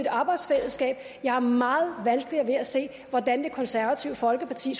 arbejdsfællesskab jeg har meget vanskeligt ved at se hvordan det konservative folkeparti